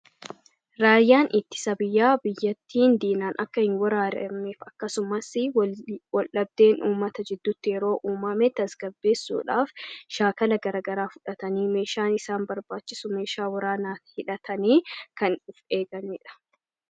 Raayyaan ittisa biyyaa, biyyattiin diinaan akka hin weeraramneef akkasumasii wal dhabdeen uummata gidduutti yeroo uummame tasgabeessuudhaaf shaakala garagaraa fudhatanii meeshaalee isaan barbaachisu, meeshaa waraanaa hidhatanii kan eeganidha.